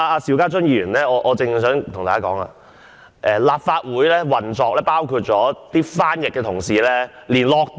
邵家臻議員......我只想跟大家說，立法會翻譯及傳譯部同事連"落地獄"......